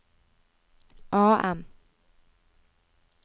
AM